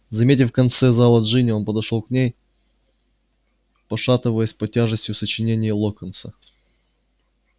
заметив в конце зала джинни он пошёл к ней пошатываясь под тяжестью сочинений локонса